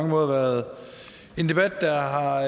har været en debat der